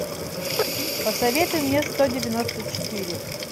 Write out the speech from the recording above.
посоветуй мне сто девяносто четыре